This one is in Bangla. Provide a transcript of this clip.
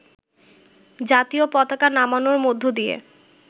জাতীয় পতাকা নামানোর মধ্য দিয়ে